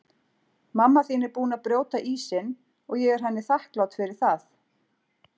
Mamma þín er búin að brjóta ísinn og ég er henni þakklát fyrir það.